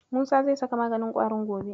Musa zai saka maganin ƙwarin gobe.